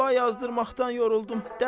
Dua yazdırmaqdan yoruldum.